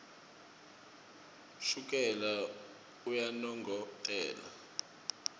shukela uyanongotela